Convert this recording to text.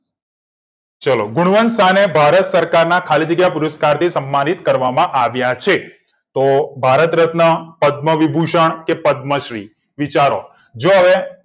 ચલો ગુણવંતાને ભારત સરકારના ખાલી જગ્યાના પુરસ્કાર થી સમ્માનીત કરવામાં આવ્યા છે તો ભારત રત્ન પદ્મ વિભુ શણ કે પદ્મ શ્રી વિચારો જોહવે